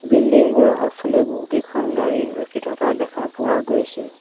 বিল্ডিংবোৰৰ আগফালে বহুকেইখন গাড়ী ৰখি থকা দেখা পোৱা গৈছে।